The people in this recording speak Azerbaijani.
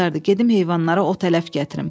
gedim heyvanlara ot ələf gətirim.